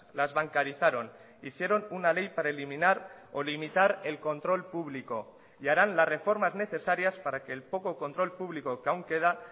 las bancarizaron hicieron una ley para eliminar o limitar el control público y harán las reformas necesarias para que el poco control público que aún queda